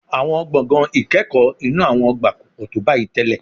Àwọn gbọ̀ngàn ìkẹ́kọ̀ọ́ inú àwọn ọgbà kò pọ̀ tó báyìí tẹ́lẹ̀